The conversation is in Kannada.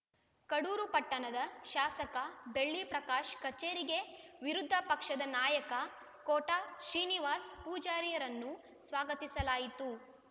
ಕಡೂರು ಪಟ್ಟಣದ ಶಾಸಕ ಬೆಳ್ಳಿ ಪ್ರಕಾಶ್‌ ಕಚೇರಿಗೆ ವಿರುದ್ಧ ಪಕ್ಷದ ನಾಯಕ ಕೋಟಾ ಶ್ರೀನಿವಾಸ ಪೂಜಾರಿರನ್ನು ಸ್ವಾಗತಿಸಲಾಯಿತು